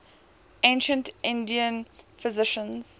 ancient indian physicians